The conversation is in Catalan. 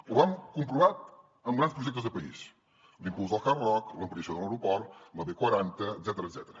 ho vam comprovar amb grans projectes de país l’impuls del hard rock l’ampliació de l’aeroport la b quaranta etcètera